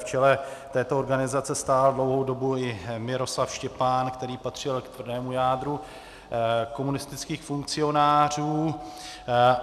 V čele této organizace stál dlouhou dobu i Miroslav Štěpán, který patřil k tvrdému jádru komunistických funkcionářů.